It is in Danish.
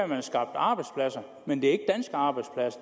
man har skabt arbejdspladser men det